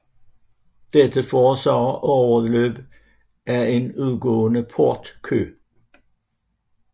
Dette forårsager overløb af en udgående port kø